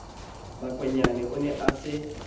makwanyane o ne a se